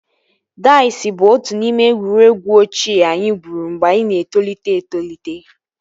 Daiz bụ otu n'ime egwuregwu ochie anyị gwuru mgbe anyị na-etolite etolite